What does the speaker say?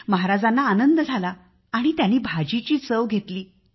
महाराजांना आनंद झाला आणि त्यांनी भाजीची चव घेतली